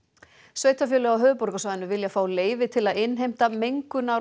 sveitarfélög á höfuðborgarsvæðinu vilja fá leyfi til að innheimta mengunar